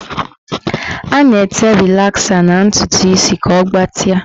A na-ete rịlasa na ntụtụ isi ka ọ gbatịa.